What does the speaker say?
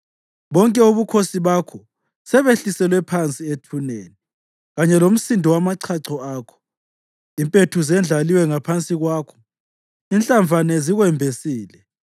Bonke ubukhosi bakho sebehliselwe phansi ethuneni, kanye lomsindo wamachacho akho. Impethu zendlaliwe ngaphansi kwakho, inhlavane zikwembesile.